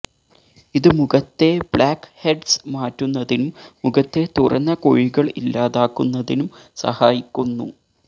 ഇത് മുഖത്തെ ബ്ലാക്ക്ഹെഡ്സ് മാറ്റുന്നതിനും മുഖത്തെ തുറന്ന കുഴികള് ഇല്ലാതാക്കുന്നതിനും സഹായിക്കുന്നു